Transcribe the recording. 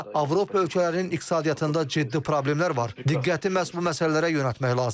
Hazırda Avropa ölkələrinin iqtisadiyyatında ciddi problemlər var, diqqəti məhz bu məsələlərə yönəltmək lazımdır.